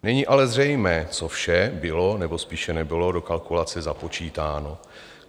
Není ale zřejmé, co vše bylo nebo spíše nebylo do kalkulace započítáno.